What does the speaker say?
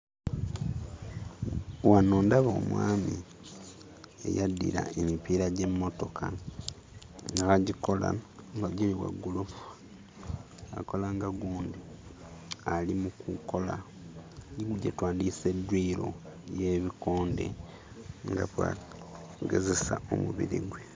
Wano ndaba omwami eyaddira emipiira gy'emmotoka n'agikola nga giri waggulu. Akola nga gundi ali mu kukola gye twandiyise dduyiro y'ebikonde nga kw'agezesa omubiri gwe.